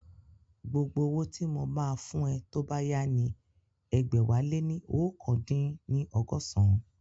Gbogbo owó tí mo máa fún ẹ tó bá yá ni ẹgbẹ̀wáléní oókan dín ní ọgọ́san